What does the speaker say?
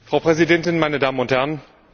Frau Präsidentin, meine Damen und Herren!